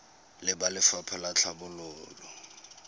le ba lefapha la tlhabololo